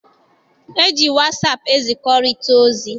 E ji wasaapụ ezikọrịta ozi.